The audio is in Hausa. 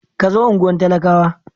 Ka zo unguwar talakawa.